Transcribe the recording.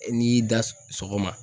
N'i y'i da sɔgɔma.